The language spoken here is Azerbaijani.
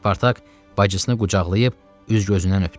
Spartak bacısını qucaqlayıb üz-gözündən öpdü.